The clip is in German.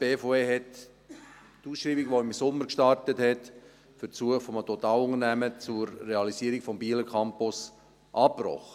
Die BVE hat die Ausschreibung, die im Sommer gestartet wurde für die Suche nach einem Totalunternehmer zur Realisierung des Bieler Campus, abgebrochen.